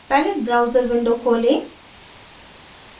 palette browser window खोलें